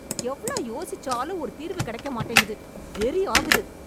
எவ்ளவு யோசிச்சாலும் ஒரு தீர்வு கிடைக்க மாட்டேங்குது. வெறி ஆகுது!